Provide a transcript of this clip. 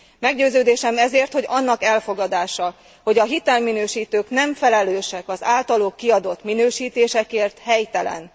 Meggyőződésem ezért, hogy annak elfogadása, hogy a hitelminősítők nem felelősek az általuk kiadott minősítésekért, helytelen.